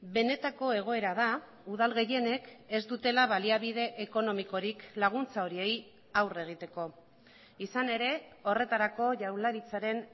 benetako egoera da udal gehienek ez dutela baliabide ekonomikorik laguntza horiei aurre egiteko izan ere horretarako jaurlaritzaren